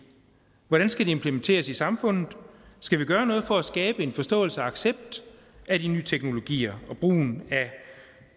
hvordan skal det implementeres i samfundet skal vi gøre noget for at skabe en forståelse og accept af de nye teknologier og brugen af